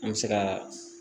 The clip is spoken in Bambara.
An bɛ se ka